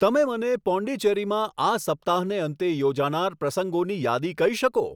તમે મને પોંડીચેરીમાં આ સપ્તાહને અંતે યોજાનાર પ્રસંગોની યાદી કહી શકો